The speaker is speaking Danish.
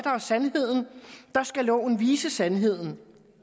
er sandhed der skal loven vise sandheden